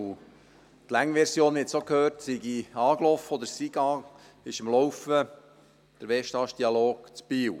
Die lange Version, man hat es gehört, sei angelaufen oder sei am Laufen, nämlich der Westast-Dialog in Biel.